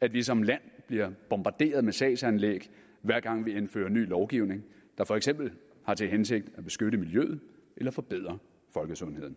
at vi som land bliver bombarderet med sagsanlæg hver gang vi indfører ny lovgivning der for eksempel har til hensigt at beskytte miljøet eller forbedre folkesundheden